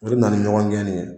O bɛ na ni ɲɔgɔn gɛn nin ye.